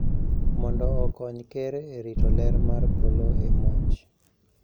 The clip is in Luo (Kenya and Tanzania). Mondo okony ker e rito ler mar polo e monj